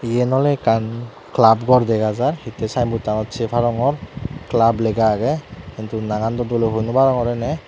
eyan ole ekkan club gor dega jaar hittey sign board tanot sey parongor clab lega agey hintu nangan do dole hoi no parongor ene.